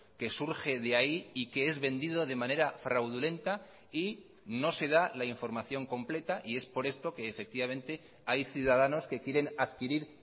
que surge de ahí y que es vendido de manera fraudulenta y no se da la información completa y es por esto que efectivamente hay ciudadanos que quieren adquirir